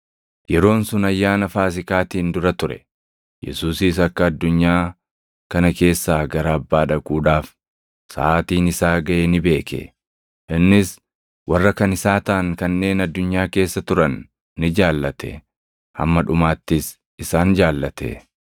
Yeroon sun Ayyaana Faasiikaatiin dura ture. Yesuusis akka addunyaa kana keessaa gara Abbaa dhaquudhaaf saʼaatiin isaa gaʼe ni beeke. Innis warra kan isaa taʼan kanneen addunyaa keessa turan ni jaallate; hamma dhumaattis isaan jaallate.